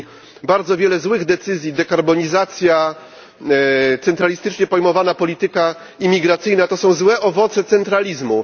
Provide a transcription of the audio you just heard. Podjęto bardzo wiele złych decyzji dekarbonizacja, centralistycznie pojmowana polityka imigracyjna, to są złe owoce centralizmu.